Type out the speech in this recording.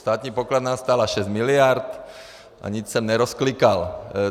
Státní pokladna stála 6 miliard a nic jsem nerozklikal.